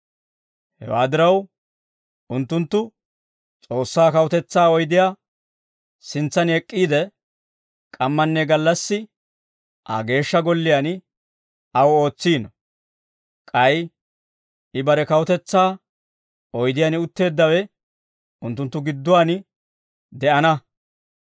Hewaa diraw, unttunttu S'oossaa kawutetsaa oydiyaa sintsan ek'k'iide, k'ammanne gallassi, Aa Geeshsha Golliyaan, aw ootsiino. K'ay I bare kawutetsaa oydiyaan utteeddawe, unttunttu gidduwaan de'ana.